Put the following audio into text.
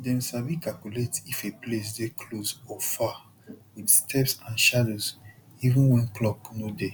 dem sabi calculate if a place dey close or far with steps and shadows even when clock no dey